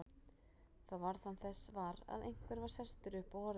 Þá varð hann þess var að einhver var sestur upp og horfði á hann.